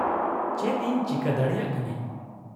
-ᱪᱮᱫ ᱤᱧ ᱪᱤᱠᱟᱹ ᱫᱟᱲᱮᱭᱟᱜ ᱠᱟᱹᱱᱟᱹᱧ ?